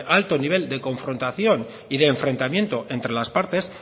alto nivel de confrontación y de enfrentamiento entre las partes